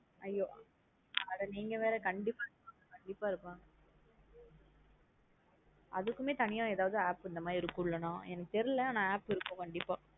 IU அட நீங்க வேற கண்டிப்பா இருப்பாங்க கண்டிப்பா இருப்பாங்க அதுக்குமே தனியா எதாவது app இந்த மாத்ரி இருக்குள்ள நா எனக்கு தெரியல app இருக்கும் கண்டிப்பா.